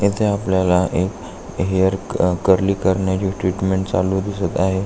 इथे आपल्याला एक हेयर अ कर्ली करण्याची ट्रीटमेंट चालू दिसत आहे.